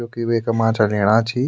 जोकि वेका माछा लेणा छि।